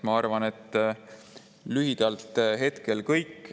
Ma arvan, et lühidalt on hetkel kõik.